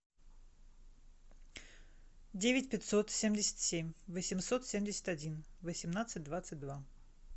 девять пятьсот семьдесят семь восемьсот семьдесят один восемнадцать двадцать два